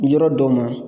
Yɔrɔ dɔw ma